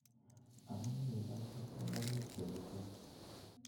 Amune ilochi ingoroik che echen.